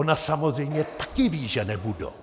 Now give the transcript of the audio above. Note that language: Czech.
Ona samozřejmě taky ví, že nebudou.